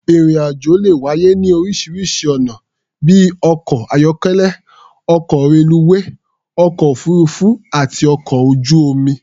Ìrìn-àjò le wáyé ní oríṣiŕṣi ọ̀nà bí i ọkọ̀-ayọ́kélẹ́, ọkọ̀, reluwé, ọkọ̀-òfuururú àti ọkọ̀ ojú-omi.